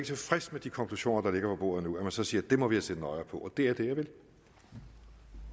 tilfreds med de konklusioner der ligger på bordet nu så siger at vi må have set nøjere på det